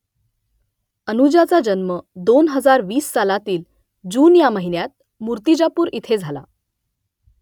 अनुजाचा जन्म दोन हजार वीस सालातील जून या महिन्यात मुर्तिजापूर इथे झाला